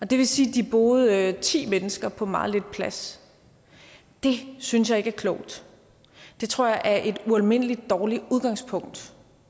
det vil sige at de boede ti mennesker på meget lidt plads det synes jeg ikke er klogt det tror jeg er et ualmindelig dårligt udgangspunkt